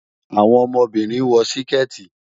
Àwọn ọmọbínrin wọ̀ síkẹ́tì.